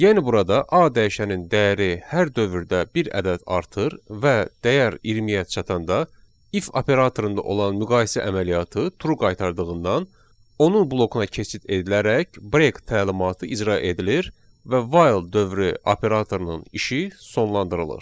Yəni burada A dəyişənin dəyəri hər dövrdə bir ədəd artır və dəyər 20-yə çatanda if operatorunda olan müqayisə əməliyyatı true qaytardığından onun blokuna keçid edilərək break təlimatı icra edilir və while dövrü operatorunun işi sonlandırılır.